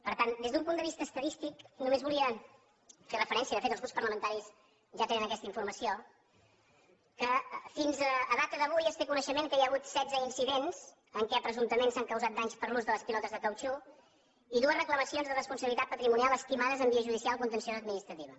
per tant des d’un punt de vista estadístic només volia fer referència de fet els grups parlamentaris ja tenen aquesta informació al fet que fins a data d’avui es té coneixement que hi ha hagut setze incidents en què presumptament s’han causat danys per l’ús de les pilotes de cautxú i dues reclamacions de responsabilitat patrimonial estimades en via judicial contenciós administrativa